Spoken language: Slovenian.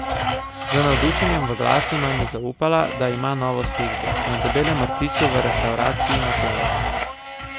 Z navdušenjem v glasu nam je zaupala, da ima novo službo: 'Na Debelem rtiču v restavraciji na plaži.